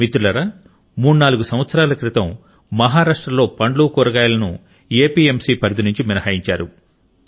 మిత్రులారా మూడు నాలుగు సంవత్సరాల క్రితం మహారాష్ట్రలో పండ్లు కూరగాయలను ఎపిఎంసి పరిధి నుండి మినహాయించారు